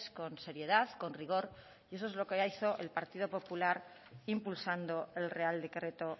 con seriedad con rigor y eso es lo que hizo el partido popular impulsando el real decreto